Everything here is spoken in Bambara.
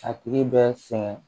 A tigi bɛ sɛgɛn